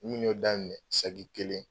N kun y'o daminɛ sagi kelen